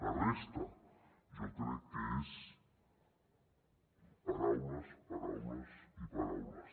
la resta jo crec que és paraules paraules i paraules